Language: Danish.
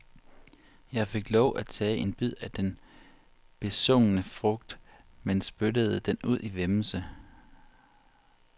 Jeg fik lov at tage en bid af den besungne frugt, men spyttede den ud i væmmelse.